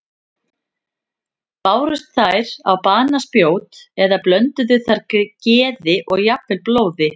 Bárust þær á banaspjót eða blönduðu þær geði og jafnvel blóði?